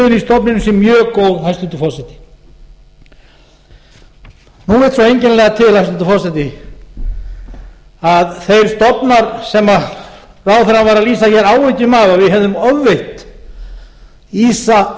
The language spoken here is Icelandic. stofninum sé mjög góð hæstvirtur forseti nú vill svo einkennilega til hæstvirtur forseti að þeir stofnar sem ráðherrann var að lýsa hér áhyggjum af að við hefðum ofveitt ýsa